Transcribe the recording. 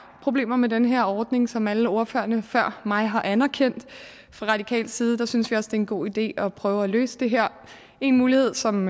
problemer med den her ordning som alle ordførerne før mig har anerkendt fra radikal side synes vi også en god idé at prøve at løse det her en mulighed som